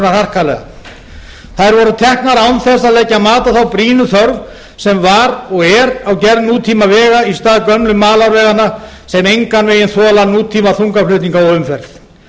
harkalega þær voru teknar án þess að leggja mat á þá brýnu þörf sem var og er á gerð nútíma vega í stað gömlu malarveganna sem engan veginn þola nútíma þungaflutninga og umferð